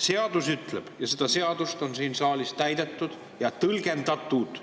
Seadus ütleb – ja seda seadust on siin saalis täidetud ja nii tõlgendatud